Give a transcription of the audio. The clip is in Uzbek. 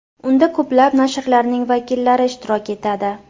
Unda ko‘plab nashrlarning vakillari ishtirok etadi.